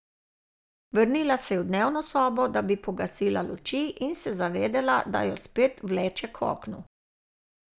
Vrnila se je v dnevno sobo, da bi pogasila luči, in se zavedela, da jo spet vleče k oknu.